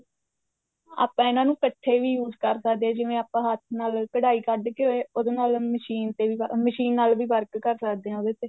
ਆਪਾਂ ਇਹਨਾ ਨੂੰ ਇੱਕਠੇ ਵੀ use ਕਰ ਸਕਦੇ ਆ ਜਿਵੇਂ ਆਪਾਂ ਹੱਥ ਨਾਲ ਕਢਾਈ ਕੱਡ ਕੇ ਉਹਦੇ ਨਾਲ ਮਸ਼ੀਨ ਤੇ ਵੀ ਮਸ਼ੀਨ ਨਾਲ ਵੀ work ਕਰ ਸਕਦੇ ਆ ਉਹਦੇ ਤੇ